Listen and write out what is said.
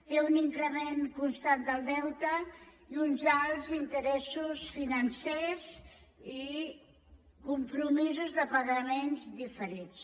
té un increment constant del deute i uns alts interessos financers i compromisos de pagaments diferits